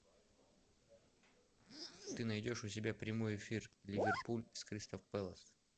ты найдешь у себя прямой эфир ливерпуль с кристал пэлас